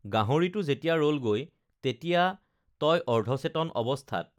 গাহৰিটো যেতিয়া ৰলগৈ তেতিয়া তই অৰ্ধচেতন অৱস্থাত